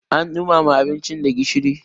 an dumama abinci ba gishiri